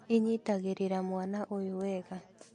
ĩnyitagĩrĩra mwana ũyũ wega